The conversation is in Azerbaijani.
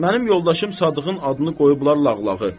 Mənim yoldaşım Sadığın adını qoyublar Lağlağı.